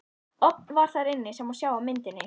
Ofn var þar inni, sem sjá má á myndinni.